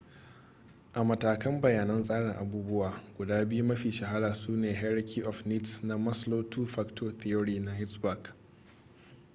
a matakan bayanan tsarin abubuwa guda biyu mafi shahara su ne hierachy of needs na maslow two factor theory na hertzberg